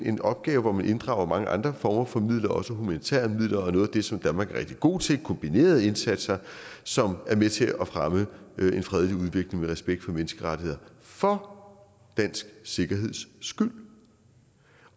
en opgave hvor man inddrager mange andre former for midler også humanitære midler og noget af det som danmark er rigtig god til nemlig kombinerede indsatser som er med til at fremme en fredelig udvikling med respekt for menneskerettigheder for dansk sikkerheds skyld